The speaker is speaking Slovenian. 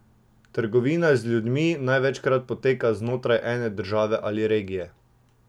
Trgovina z ljudmi največkrat poteka znotraj ene države ali regije.